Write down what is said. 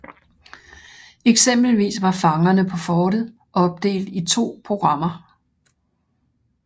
Eksempelvis var Fangerne på Fortet opdelt i to programmer